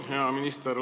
Hea minister!